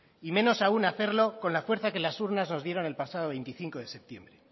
y menos aún hacerlo con la fuerza que las urnas nos dieron el pasado veinticinco de septiembre